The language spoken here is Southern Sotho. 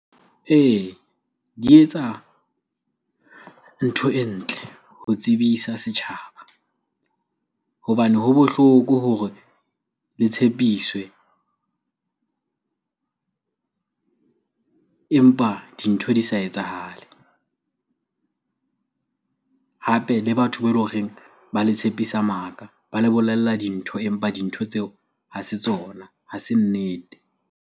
Ee, di etsa ntho e ntle ho tsebisa setjhaba. Hobane ha bohloko hore le tshepiswe empa dintho di sa etsahale. Hape le batho ba ele horeng ba le tshepisa maka, ba le bolella dintho empa dintho tseo ha se tsona, ha se nnete.